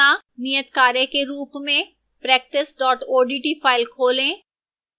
नियतकार्य के रूप में: